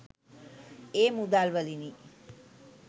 ඒ මුදල් වලිනි.